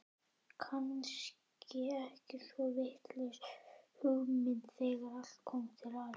Kannski ekki svo vitlaus hugmynd þegar allt kom til alls.